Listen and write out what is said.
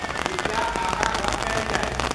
कृपया आगाँ गप कएल जाए।